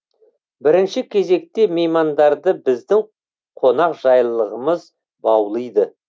бірінші кезекте меймандарды біздің қонақжайлылығымыз баулиды